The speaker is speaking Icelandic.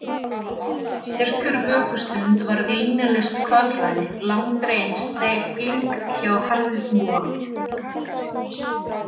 Sérhver vökustund var linnulaust kvalræði, langdregin stegling hjá harðvítugum rannsóknarrétti tímans.